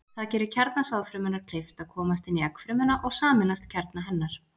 Það gerir kjarna sáðfrumunnar kleift að komast inn í eggfrumuna og sameinast kjarna hennar.